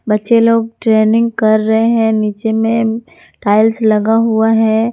बच्चे लोग ट्रेनिंग कर रहे हैं नीचे में टाइल्स लगा हुआ है।